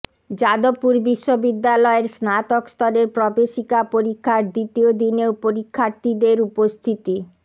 যাদবপুর বিশ্ববিদ্যালয়ের স্নাতক স্তরের প্রবেশিকা পরীক্ষার দ্বিতীয় দিনেও পরীক্ষার্থীদের উপস্থিতি